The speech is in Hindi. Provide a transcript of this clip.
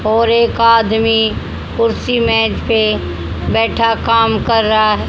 और एक आदमी कुर्सी मेज पे बैठा काम कर रहा--